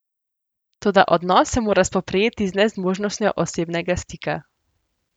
Toda odnos se mora spoprijeti z nezmožnostjo osebnega stika.